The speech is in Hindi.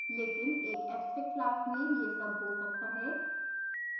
लेकिन एक abstract class में यह सब हो सकता है